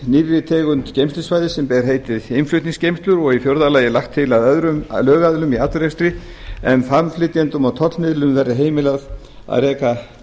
nýrri tegund geymslusvæðis er ber heitið umflutningsgeymslur í fjórða lagi er lagt til að öðrum lögaðilum í atvinnurekstri en farmflytjendum og tollmiðlurum verði heimilað að reka